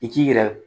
I k'i yɛrɛ